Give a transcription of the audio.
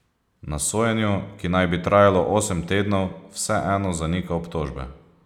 Na sojenju, ki naj bi trajalo osem tednov, vseeno zanika obtožbe.